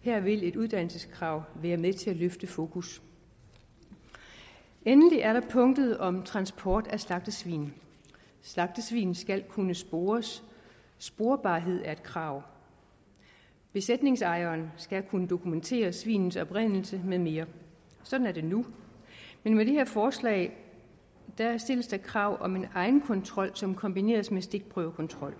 her vil et uddannelseskrav være med til at løfte fokus endelig er der punktet om transport af slagtesvin slagtesvin skal kunne spores sporbarhed er et krav besætningsejeren skal kunne dokumentere svinets oprindelse med mere sådan er det nu men med det her forslag stilles der krav om en egenkontrol som kombineres med stikprøvekontrol